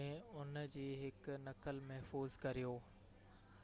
۾ ان جي هڪ نقل محفوظ ڪريو